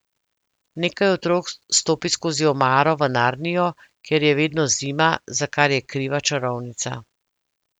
Nekaj otrok stopi skozi omaro v Narnijo, kjer je vedno zima, za kar je kriva čarovnica.